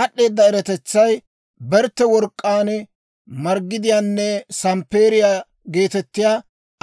Aad'd'eeda eratetsay bertte work'k'aan, margidiyaanne samppeeriyaa geetettiyaa